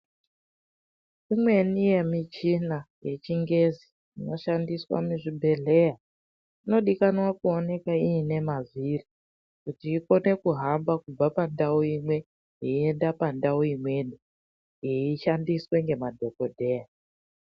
Imweni yemichina yechingezi inoshandiswa muzvibhedhleya inodikana kuoneke iine mavhiri, kuti ikone kuhamba kubva pandau imwe yeienda pandau imweni yeishandiswe ngemadhokodheya.